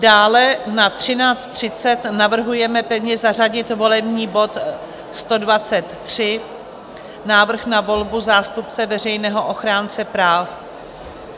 Dále na 13.30 navrhujeme pevně zařadit volební bod 123, návrh na volbu zástupce veřejného ochránce práv.